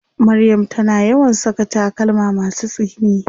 Maryam tana yawan saka takalma masu tsini.